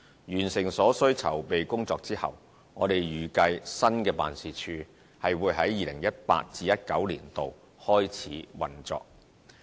完成所需籌備工作後，我們預計新辦事處會在 2018-2019 年度內開始運作。